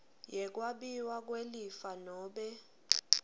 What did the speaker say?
yekwabiwa kwelifa nobe